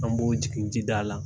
An b'o jigin jida la.